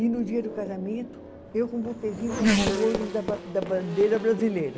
E no dia do casamento, eu com um buquezinho com as cores da ba, da bandeira brasileira.